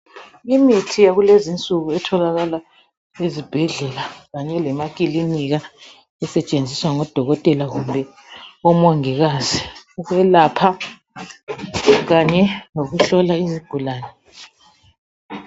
Imithi yakulezinsuku etholakala ezibhedlela kanye lema kilinika esetshenziswa ngabodokotela kumbe omongikazi ukwelapha kanye lokuhlola izigulane.